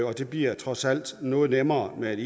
og det bliver trods alt noget nemmere med et